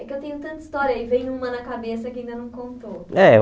É que eu tenho tanta história e vem uma na cabeça que ainda não contou. É eu